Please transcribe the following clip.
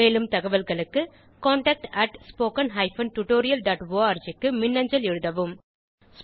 மேலும் தகவல்களுக்கு contactspoken tutorialorg க்கு மின்னஞ்சல் எழுதவும்